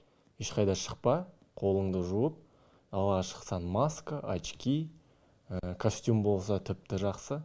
ешқайда шықпа қолыңды жуып дала шықсаң маска очки костюм болса тіпті жақсы